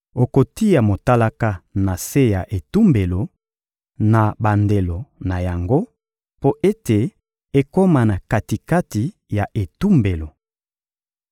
Okotia motalaka na se ya etumbelo, na bandelo na yango, mpo ete ekoma na kati-kati ya etumbelo.